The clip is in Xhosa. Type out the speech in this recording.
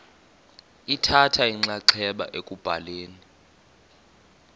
lithatha inxaxheba ekubhaleni